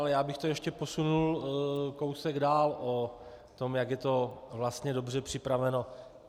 Ale já bych to ještě posunul kousek dál o tom, jak je to vlastně dobře připraveno.